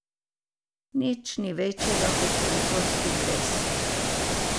Nič ni večjega kot francoski dres.